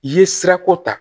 I ye sirako ta